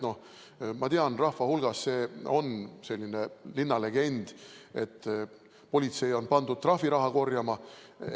Nii et see on selline linnalegend, et politsei on pandud trahviraha korjama.